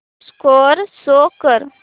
score show कर